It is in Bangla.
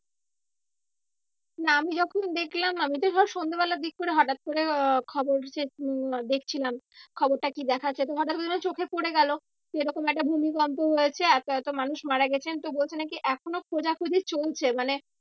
না আমি যখন দেখলাম আমি তো ধর সন্ধ্যা বেলার দিক করে হঠাৎ করে আহ খবর দেখছিলাম। খবরটা কি দেখাচ্ছে চোখে পরে গেলো। যে এরকম একটা ভূমিকম্প হয়েছে এতো এতো মানুষ মারা গেছে তো বলছি নাকি এখনো খোঁজাখুঁজি চলছে মানে